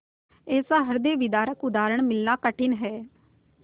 ऐसा हृदयविदारक उदाहरण मिलना कठिन है